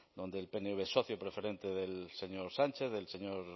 donde el pnv es socio preferente del señor sánchez del señor